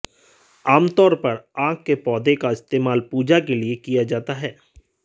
आमतौर पर आक के पौधे का इस्तेमाल पूजा के लिए किया जाता है